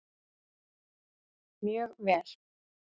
Mjög vel!